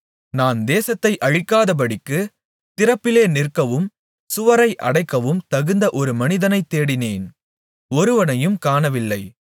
நான் தேசத்தை அழிக்காதபடிக்குத் திறப்பிலே நிற்கவும் சுவரை அடைக்கவும் தகுந்த ஒரு மனிதனைத் தேடினேன் ஒருவனையும் காணவில்லை